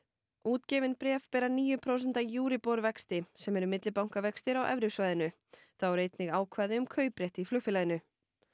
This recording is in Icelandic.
útgefin bréf bera níu prósenta Euribor vexti sem eru millibankavextir á evrusvæðinu þá eru einnig ákvæði um kauprétt í flugfélaginu